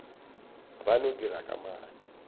ba no dira ka maatla